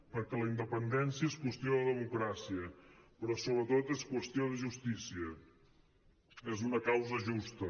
perquè la independència és qüestió de democràcia però sobretot és qüestió de justícia és una causa justa